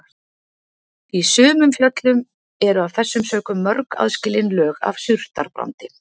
Í sumum fjöllum eru af þessum sökum mörg aðskilin lög af surtarbrandi.